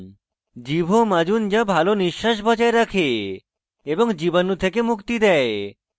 জীভ ও মাজুন যা ভাল নিশ্বাস বজায় রাখে এবং জীবাণু থেকে মুক্তি দেয়